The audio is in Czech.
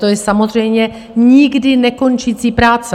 To je samozřejmě nikdy nekončící práce.